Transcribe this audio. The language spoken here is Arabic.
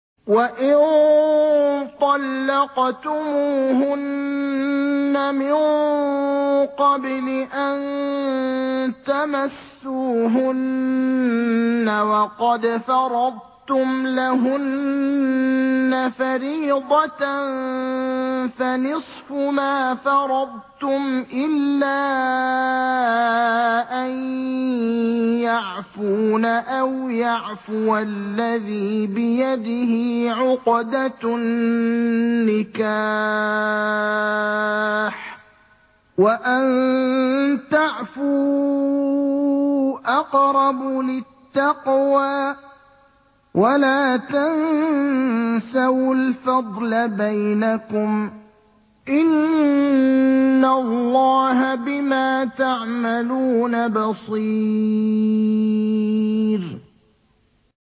وَإِن طَلَّقْتُمُوهُنَّ مِن قَبْلِ أَن تَمَسُّوهُنَّ وَقَدْ فَرَضْتُمْ لَهُنَّ فَرِيضَةً فَنِصْفُ مَا فَرَضْتُمْ إِلَّا أَن يَعْفُونَ أَوْ يَعْفُوَ الَّذِي بِيَدِهِ عُقْدَةُ النِّكَاحِ ۚ وَأَن تَعْفُوا أَقْرَبُ لِلتَّقْوَىٰ ۚ وَلَا تَنسَوُا الْفَضْلَ بَيْنَكُمْ ۚ إِنَّ اللَّهَ بِمَا تَعْمَلُونَ بَصِيرٌ